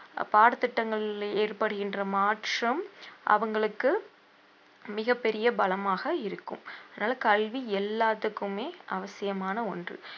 அஹ் பாடத்திட்டங்களில் ஏற்படுகின்ற மாற்றம் அவங்களுக்கு மிகப் பெரிய பலமாக இருக்கும் அதனால கல்வி எல்லாத்துக்குமே அவசியமான ஒன்று